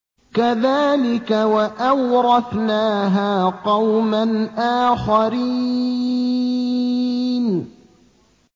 كَذَٰلِكَ ۖ وَأَوْرَثْنَاهَا قَوْمًا آخَرِينَ